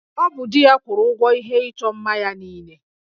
Ọ bụ di ya kwụrụ ụgwọ ihe ịchọ mma ya niile